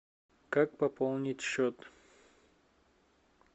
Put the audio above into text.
как пополнить счет